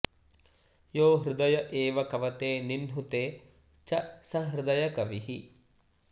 यो हृदय एव कवते निह्नुते च स हृदयकविः